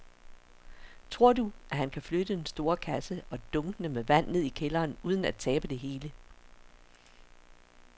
Tror du, at han kan flytte den store kasse og dunkene med vand ned i kælderen uden at tabe det hele?